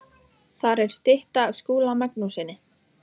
Þar er stytta af Skúla Magnússyni.